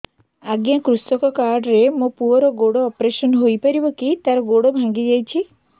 ଅଜ୍ଞା କୃଷକ କାର୍ଡ ରେ ମୋର ପୁଅର ଗୋଡ ଅପେରସନ ହୋଇପାରିବ କି ତାର ଗୋଡ ଭାଙ୍ଗି ଯାଇଛ